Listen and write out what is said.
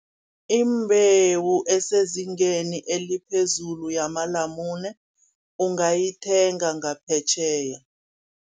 Imbewu esezingeni eliphezulu yamalamune, ungayithenga ngaphetjheya.